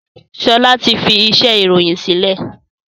Sọlá ti fi iṣẹ́ ìròyìn sílẹ̀